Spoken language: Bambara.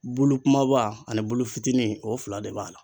Bulu kumaba ani bulu fitini o fila de b'a la.